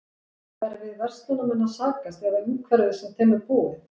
Er við verslunarmenn að sakast eða umhverfið sem þeim er búið?